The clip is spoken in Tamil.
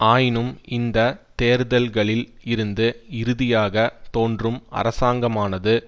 ஆயினும் இந்த தேர்தல்களில் இருந்து இறுதியாக தோன்றும் அரசாங்கமானது